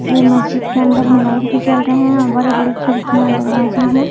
ये मस्जिद के अंदर में लाइट भी जल रहे हैं और बड़े बड़े खिड़कियां और दरवाजे हैं।